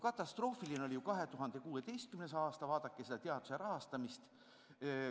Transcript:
Katastroofiline oli ju 2016. aasta, vaadake tollast teaduse rahastamist.